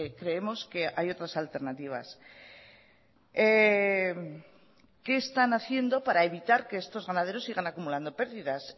creemos que hay otras alternativas qué están haciendo para evitar que estos ganaderos sigan acumulando perdidas